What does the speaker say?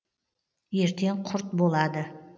ертең құрт болады